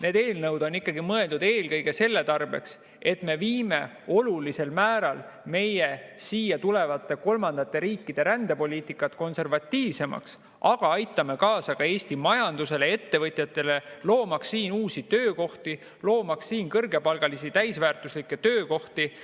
Need eelnõud on mõeldud eelkõige ikkagi selle tarbeks, et me siia kolmandatest riikidest rände poliitikat olulisel määral konservatiivsemaks, aga aitame kaasa ka Eesti majandusele, ettevõtjatele, loomaks siin uusi töökohti, kõrgepalgalisi täisväärtuslikke töökohti.